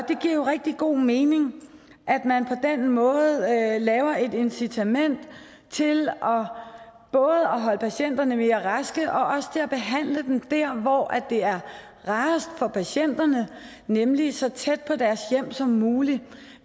det giver jo rigtig god mening at man på den måde laver et incitament til både at holde patienterne mere raske og også til at behandle dem der hvor det er rarest for patienterne nemlig så tæt på deres hjem som muligt